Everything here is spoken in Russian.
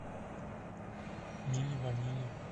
мили ванили